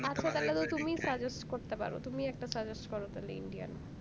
তুমিই suggest করতে পারো তুমিই একটা suggest করো তালে indian